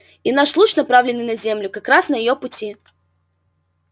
и наш луч направленный на землю как раз на её пути